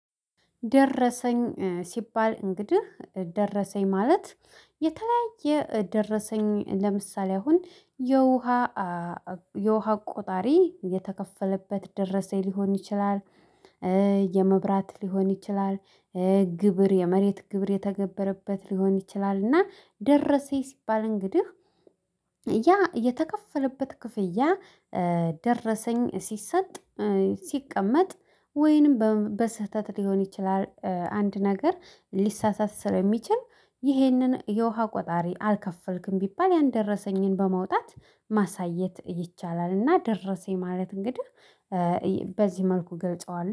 ደረሰኝ ሲባል እንግዲህ ደረሰኝ ማለት የተለያየ ደረሰኝ ለምሳሌ አሁን የውሃ የውሃ ቆጣሪ የተከፈለበት ደረሰኝ ሊሆን ይችላል። የመብራት ሊሆን ይችላል። ግብር የመሬት ግብር የተገበረበት ሊሆን ይችላል። እና ደረሰኝ ሲባል እንግዲህ ያ የተከፈለበት ክፍያ ደረሰኝ ሲሰጥ ሲቀመጥ ወይንም በስህተት ሊሆን ይችላል። አንድ ነገር ሊሳሳት ስለሚችል ይህንን የውሃ ቆጣሪ አልከፈልክም ቢባል ያን ደረሰኝን በመውጣት ማሳየት ይቻላል። እና ደረሰኝ ማለት እንግዲህ በዚህ መልኩ እገልጸዋለሁ